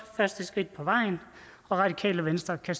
første skridt på vejen og radikale venstre kan